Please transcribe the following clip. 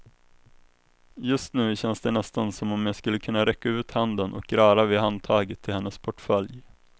Just nu känns det nästan som om jag skulle kunna räcka ut handen och röra vid handtaget till hennes portfölj.